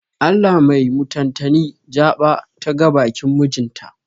Allah mai mutantani jaɓa ta ga bakin mijin ta.